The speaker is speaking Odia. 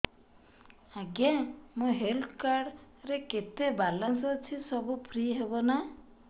ଆଜ୍ଞା ମୋ ହେଲ୍ଥ କାର୍ଡ ରେ କେତେ ବାଲାନ୍ସ ଅଛି ସବୁ ଫ୍ରି ହବ ନାଁ